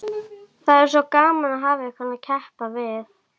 Það er svo gaman að hafa einhvern að keppa við.